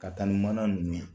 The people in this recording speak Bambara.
Ka taa ni mana nunnu ye.